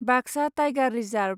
Baksa tiger reserve